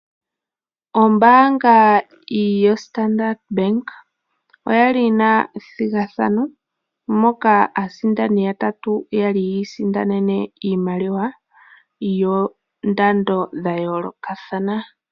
Ombaanga yoStandard Bank oya li yi na ethigathano moka aasindani yatatu yi isindanene iimaliwa yoongushu dha yoolokathana.